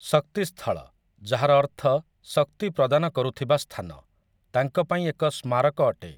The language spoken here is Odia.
ଶକ୍ତି ସ୍ଥଳ', ଯାହାର ଅର୍ଥ ଶକ୍ତି ପ୍ରଦାନ କରୁଥିବା ସ୍ଥାନ, ତାଙ୍କ ପାଇଁ ଏକ ସ୍ମାରକ ଅଟେ ।